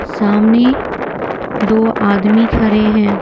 सामने दो आदमी खड़े हैं --